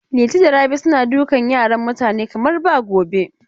Liti da Rabi suna dukan yaran mutane kamar ba gobe.